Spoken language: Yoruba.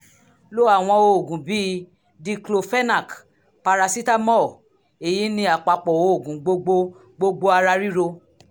lo àwọn oògùn bíi diclophenac parasitamọ́ọ̀ èyí ni àpapọ̀ oògùn gbogbo gbogbo ara ríro